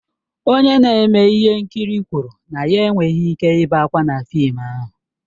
Onye na-eme ihe nkiri kwụrụ na ya enweghị ike ibe ákwà na fịịm ahụ.